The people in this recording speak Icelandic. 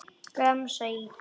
Gramsa í því.